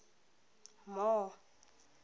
more